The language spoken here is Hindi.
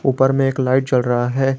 ऊपर में एक लाइट जल रहा है।